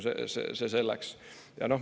See selleks.